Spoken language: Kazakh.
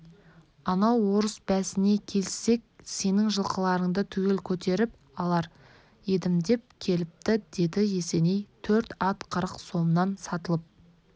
анау орыс бәсіне келіссек сенің жылқыларыңды түгел көтеріп алар едім деп келіпті деді есеней төрт ат қырық сомнан сатылып